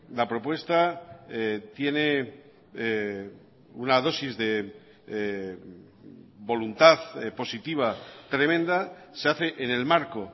la propuesta tiene una dosis de voluntad positiva tremenda se hace en el marco